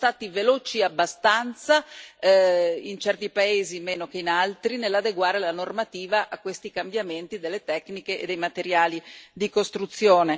Non siamo stati veloci abbastanza, in certi paesi meno che in altri, nell'adeguare la normativa a questi cambiamenti delle tecniche e dei materiali di costruzione.